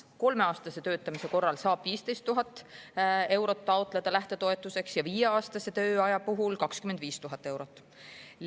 Kolmeaastase töötamise korral saab lähtetoetuseks taotleda 15 000 eurot ja viieaastase töötamise puhul 25 000 eurot.